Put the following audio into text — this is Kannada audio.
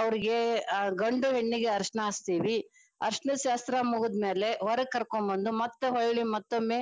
ಅವ್ರಿಗೆ ಆ ಗಂಡು ಹೆಣ್ಣಿಗೆ ಅರಶಿಣ ಹಚ್ತೇವಿ ಅರಶಣದ ಸಹಾಯ ಶಾಸ್ತ್ರಾ ಮುಗದ ಮ್ಯಾಲೆ ಹೊರಗ ಕರ್ಕೊಂಬಂದ ಮತ್ತ ಹೊಳ್ಳಿ ಮತ್ತೊಮ್ಮೆ